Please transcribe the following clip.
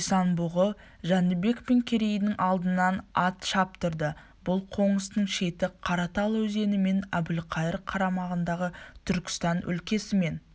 исан-бұғы жәнібек пен керейдің алдынан ат шаптырды бұл қоныстың шеті қаратал өзенімен әбілқайыр қарамағындағы түркістан өлкесімен